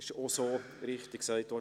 Es wurde auch richtig gesagt: